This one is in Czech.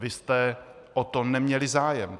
Vy jste o to neměli zájem.